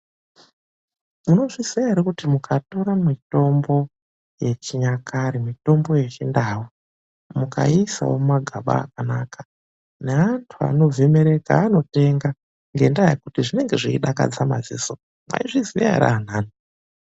Munozviziya ere kuti mukatora mitombo yechinyakare, mitombo yechindau mukaiisawo mumagaba akanaka, neantu anobve Mereka anotenga ngendaa yekuti zvinenge zveidakadza madziso. Mwaizviziya ere antani?